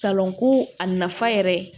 Salonko a nafa yɛrɛ